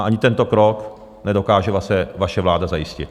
A ani tento krok nedokáže vaše vláda zajistit.